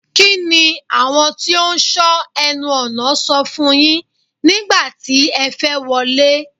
Kí ni àwọn tí ó ń sọ ẹnu ọ̀nà sọ fún yín nígbà tí ẹ fẹ́ wọlé?